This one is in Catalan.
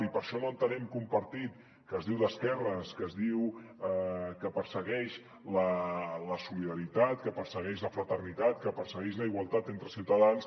i per això no entenem que un partit que es diu d’esquerres que es diu que persegueix la solida·ritat que persegueix la fraternitat que persegueix la igualtat entre ciutadans